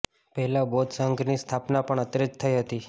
પહેલા બૌદ્ધ સંઘની સ્થાપના પણ અત્રે જ થઇ હતી